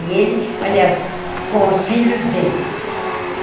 E ele, aliás, com os filhos dele.